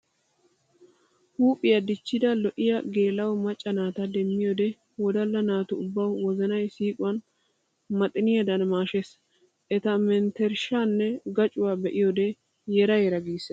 Huuphiya dichidda lo'iyaa geela'o macca naata demmiyoode wodalla naatu ubbawu wozannay siiquwan maxxinniyaddan maashshes! Eta menttershshanne gaccuwa be'iyoode yera yera gissees!